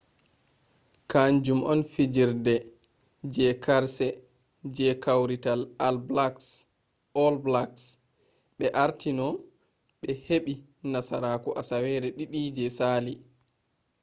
kaanjum on fijerde je karse je kawrital all blacks ɓe arti no ɓe heɓɓi nasaru asawere ɗiɗi je sali